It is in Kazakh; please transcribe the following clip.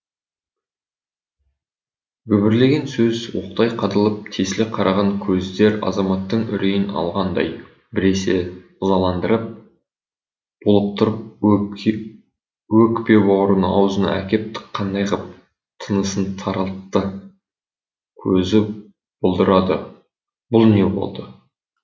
гүбірлеген сөз оқтай қадалып тесіле қараған көздер азаматтың үрейін алғандай біресе ызаландырып булықтырып өкпе бауырын аузына әкеп тыққандай ғып тынысын тарылтты көзі бұлдырады бұл не болды